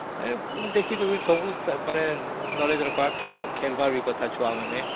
ତା ସହିତ ଛୁଆମାନେ ଖେଳିବା କଥା ମଧ୍ୟ